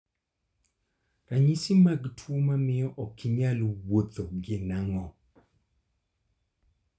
Ranyisi mag tuo mamio okinyal wuotho gin ang'o?